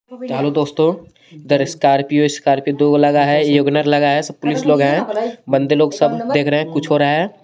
Hello दोस्तों इधर Scorpio Scorpio दो लगा है योगिनर लगा है सब पुलिस लोग हैं बंदे लोग सब देख रहे हैं कुछ हो रहा है.